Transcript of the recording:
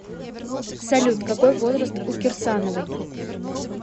салют какой возраст у кирсановой